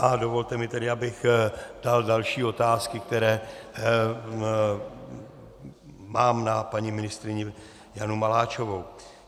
A dovolte mi tedy, abych dal další otázky, které mám na paní ministryni Janu Maláčovou.